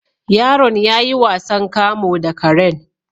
Yaron yayi wasan kamu da karen